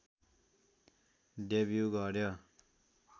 debut गर्‍यो